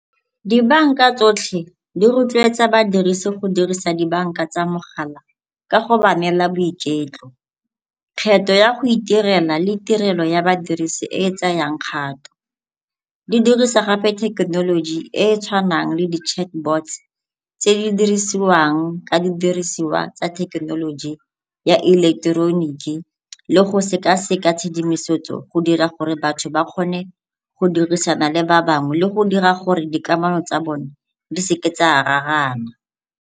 Dibanka tsotlhe di rotloetsa badirisi go dirisa dibanka tsa mogala ka go ba neela boiketlo, kgetho ya go itirela le tirelo ya badirisi e e tsayang kgato. Di dirisa gape thekenoloji e e tshwanang le di-chatbots tse di dirisiwang ka didirisiwa tsa thekenoloji ya ileketoroniki le go sekaseka tshedimosetso go dira gore batho ba kgone go dirisana le ba bangwe le go dira gore dikamano tsa bone di seke tsa raraana.